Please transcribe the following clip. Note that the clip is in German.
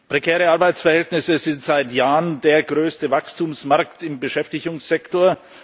Prekäre Arbeitsverhältnisse sind seit Jahren der größte Wachstumsmarkt im Beschäftigungssektor.